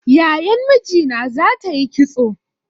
Yayan mijina za ta yi kitso